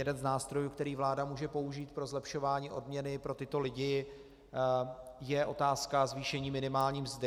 Jeden z nástrojů, který vláda může použít pro zlepšování odměny pro tyto lidi, je otázka zvýšení minimální mzdy.